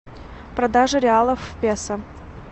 продажа реалов в песо